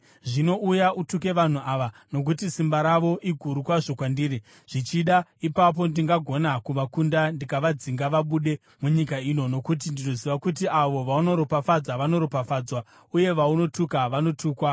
Zvino, uya utuke vanhu ava, nokuti simba ravo iguru kwazvo kwandiri. Zvichida ipapo ndingagona kuvakunda ndikavadzinga vabude munyika ino. Nokuti ndinoziva kuti avo vaunoropafadza vanoropafadzwa, uye vaunotuka vanotukwa.”